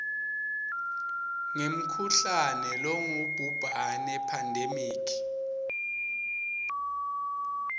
ngemkhuhlane longubhubhane pandemic